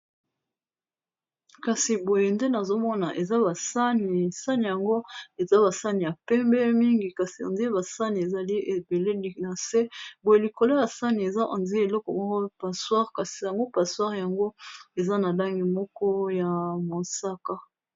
Kasi boye nde nazomona eza basani sani yango eza basani ya pembe, mingi kasi andie basani ezali ebeleli na se boye likolo ya sani eza endie eloko moko passewire kasi yango passewire yango eza na langi moko ya mosaka.